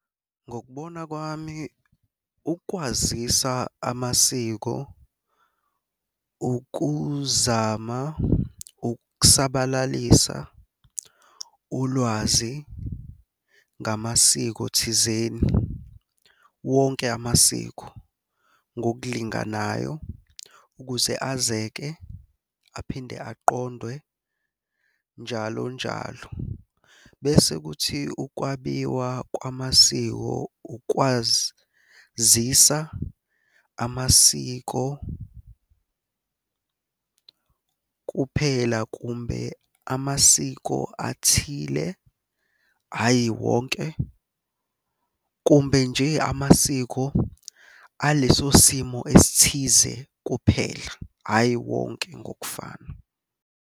Ngokubona kwami ukwazisa amasiko ukuzama ukusabalalisa ulwazi ngamasiko thizeni wonke amasiko ngokulinganayo ukuze azeseke aphinde aqondwe njalo njalo. Bese kuthi ukwabiwa kwamasiko ukwazisa amasiko kuphela kumbe amasiko athile, hhayi wonke, kumbe nje amasiko aleso simo esithize kuphela, hhayi wonke ngokufana.